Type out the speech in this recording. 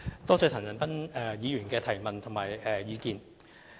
多謝陳恒鑌議員的問題和意見。